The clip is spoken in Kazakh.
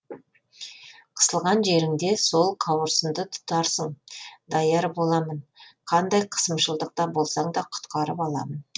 қысылған жеріңде сол қауырсынды тұтатсаң даяр боламын қандай қысымшылықта болсаң да құтқарып аламын